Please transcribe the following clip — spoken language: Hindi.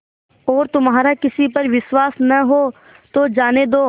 और तुम्हारा किसी पर विश्वास न हो तो जाने दो